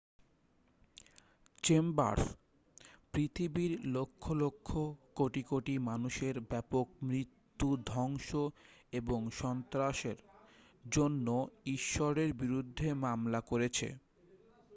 "Chambers "পৃথিবীর লক্ষ লক্ষ কোটি কোটি মানুষের ব্যাপক মৃত্যু ধ্বংস এবং সন্ত্রাসের" জন্য ঈশ্বরের বিরুদ্ধে মামলা করেছে।